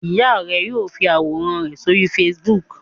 Ìyá rẹ yóò fi àwòrán rẹ sórí Facebook.